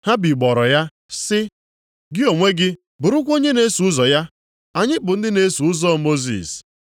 Ha bigbọrọ ya sị, “Gị onwe gị bụrụkwa onye na-eso ụzọ ya! Anyị bụ ndị na-eso ụzọ Mosis.